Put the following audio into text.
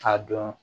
K'a dɔn